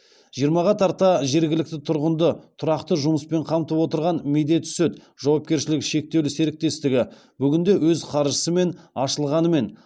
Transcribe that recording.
жиырмаға тарта жергілікті тұрғынды тұрақты жұмыспен қамтып отырған медет сүт жауапкершілігі шектеулі серіктестігі бүгінде өз қаржысымен ашылғанымен